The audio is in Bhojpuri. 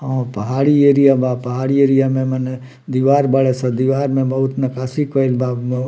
अ पहाड़ी एरिया बा पहाड़ी एरिया में मने दीवार बड़ा-से दीवार में बहुत नकासी कइल बा।